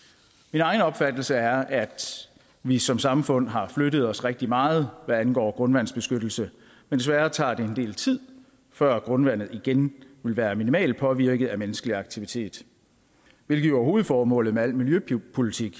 min egen opfattelse er at vi som samfund har flyttet os rigtig meget hvad angår grundvandsbeskyttelse men desværre tager det en del tid før grundvandet igen vil være minimalt påvirket af menneskelig aktivitet hvilket jo er hovedformålet med al miljøpolitik